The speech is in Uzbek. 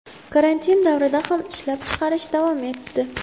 Karantin davrida ham ishlab chiqarish davom etdi.